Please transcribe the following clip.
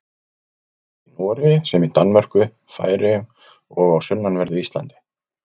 Jafnt í Noregi sem í Danmörku, Færeyjum og á sunnanverðu Íslandi.